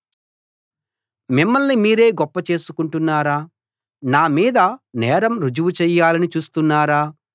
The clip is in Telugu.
మిమ్మల్ని మీరే గొప్పచేసుకుంటున్నారా నా మీద నేరం రుజువు చెయ్యాలని చూస్తున్నారా